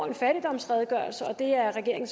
en fattigdomsredegørelse og det er regeringen